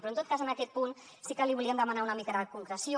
però en tot cas en aquest punt sí que li volíem demanar una mica de concreció